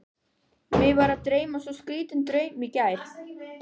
Mig var að dreyma svo skrýtinn draum í gær.